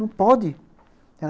Não pode.